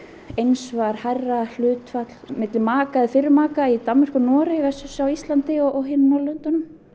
eins var hærra hlutfall milli maka og fyrrum maka í Danmörku og Noregi á Íslandi og hinum Norðurlöndunum